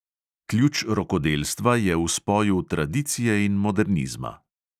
Ključ rokodelstva je v spoju tradicije in modernizma.